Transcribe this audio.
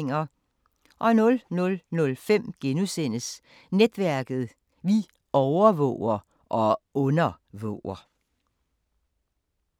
00:05: Netværket: Vi overvåger – og undervåger! *